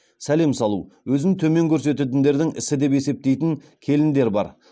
сәлем салу өзін төмен көрсететіндердің ісі деп есептейтін келіндер бар